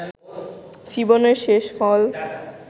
জীবনের শেষফল